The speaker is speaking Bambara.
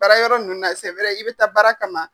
Baara yɔrɔ ninnu na i bɛ taa baara kama